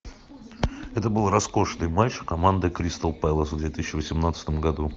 это был роскошный матч команды кристал пэлас в две тысячи восемнадцатом году